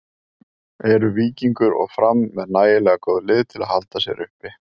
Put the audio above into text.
Eru Víkingur og Fram með nægilega góð lið til að halda sér uppi?